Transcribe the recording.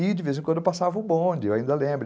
E, de vez em quando, eu passava o bonde, eu ainda lembro.